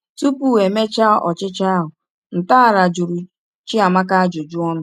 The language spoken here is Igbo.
Tupu e mee ọchịchọ ahụ, ntọala jụrụ Chiamaka ajụjụ ọnụ.